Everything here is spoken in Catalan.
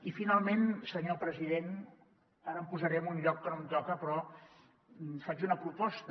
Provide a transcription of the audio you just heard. i finalment senyor president ara em posaré en un lloc que no em toca però faig una proposta